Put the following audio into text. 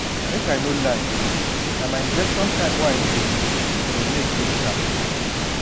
make i no lie na my injection time wey i no dey miss dey make dey sharp